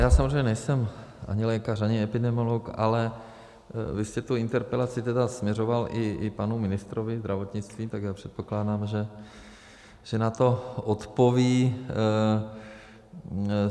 Já samozřejmě nejsem ani lékař, ani epidemiolog, ale vy jste tu interpelaci tedy směřoval i panu ministrovi zdravotnictví, tak já předpokládám, že na to odpoví.